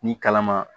Ni kalama